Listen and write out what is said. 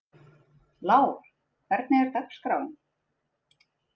Lár, hvernig er dagskráin?